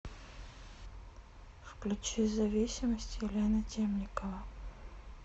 включи зависимость елена темникова